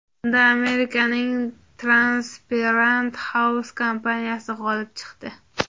Unda Amerikaning Transparent House kompaniyasi g‘olib chiqdi.